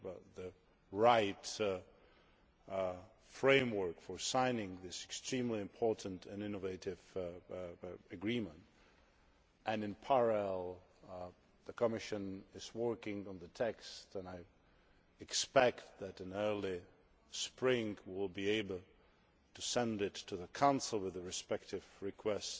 the right framework for signing this extremely important and innovative agreement and, in parallel, the Commission is working on the text and I expect that in early spring we will be able to send it to the Council with the respective request